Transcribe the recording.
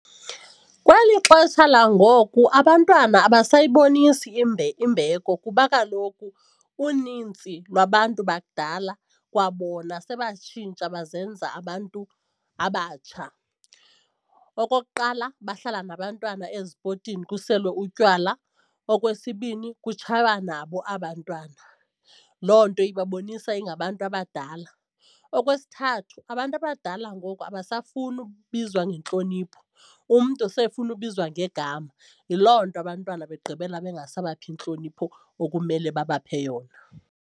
Kweli xesha langoku abantwana abasayibonisi imbeko kuba kaloku unintsi lwabantu bakudala kwabona sebatshintsha bazenza abantu abatsha. Okokuqala, bahlala nabantwana ezipotini kuselwe utywala. Okwesibini, kutshaywa nabo aba' ntwana. Loo nto ibabonisa ingabantu abadala. Okwesithathu, abantu abadala ngoku abasafuni ubizwa ngentlonipho, umntu sefuna ubizwa ngegama yiloo nto abantwana begqibela bangasabaphi intlonipho okumele babaphe yona.